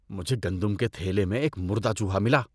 مجھے گندم کے تھیلے میں ایک مردہ چوہا ملا۔